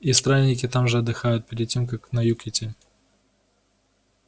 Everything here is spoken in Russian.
и странники там же отдыхают перед тем как на юг идти